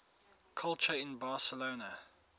culture in barcelona